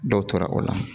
Dɔw tora o la